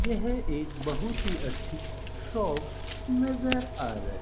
यह एक बहुत ही अच्छी शॉप नजर आ रही--